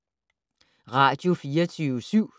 Radio24syv